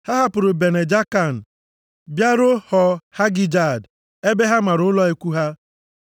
Ha hapụrụ Bene Jaakan bịaruo Họ Hagịdgad ebe ha mara ụlọ ikwu ha.